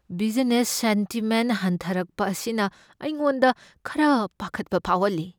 Business sentiment ꯍꯟꯊꯔꯛꯄ ꯑꯁꯤꯅ ꯑꯩꯉꯣꯟꯗ ꯈꯔ ꯄꯥꯈꯠꯄ ꯐꯥꯎꯍꯜꯂꯤ ꯫